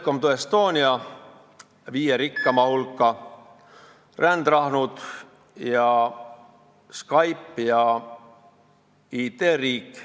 "Welcome to Estonia", Eesti viie rikkaima hulka, rändrahnud, Skype ja IT-riik.